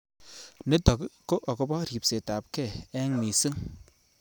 "Nitok ko akopo ripset ap kei ing mising"